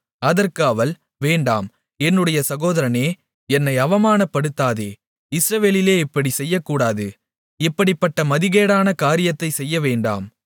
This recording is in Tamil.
அதற்கு அவள் வேண்டாம் என்னுடைய சகோதரனே என்னை அவமானப்படுத்தாதே இஸ்ரவேலிலே இப்படிச் செய்யக்கூடாது இப்படிப்பட்ட மதிகேடான காரியத்தைச் செய்யவேண்டாம்